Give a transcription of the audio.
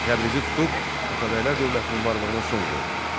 Təbrizi tutub, Atabəylər dövlətinin varlığına son qoydu.